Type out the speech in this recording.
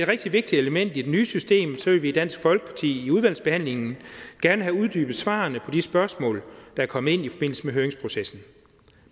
rigtig vigtigt element i det nye system vil vi i dansk folkeparti i udvalgsbehandlingen gerne have uddybet svarene på de spørgsmål der er kommet ind i forbindelse med høringsprocessen